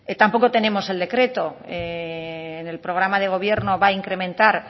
tampoco tenemos el decreto en el programa de gobierno va a incrementar